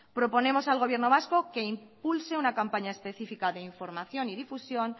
proponemos al gobierno vasco que impulse una campaña específica de información y difusión